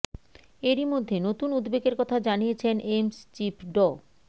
এরই মধ্যে নতুন উদ্বেগের কথা জানিয়েছেন এইমস চিফ ড